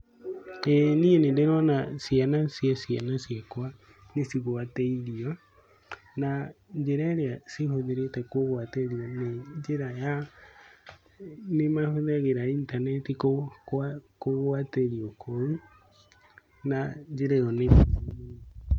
ĩĩ niĩ nĩ ndĩrona ciana cia ciana ciakwa nĩ cigwatĩirio, na njĩra ĩrĩa cihũthĩrĩte kũgwatĩrio nĩ njĩra ya nĩ mahũthagĩra intaneti kũgwatĩrio kũu, na njĩra ĩyo nĩ njega mũno.